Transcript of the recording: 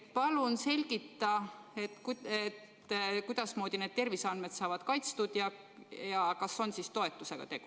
Palun selgita, kuidasmoodi need terviseandmed saavad kaitstud ja kas on siis toetusega tegu.